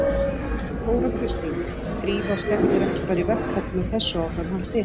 Þóra Kristín: Drífa stefnir ekki bara í verkfall með þessu áframhaldi?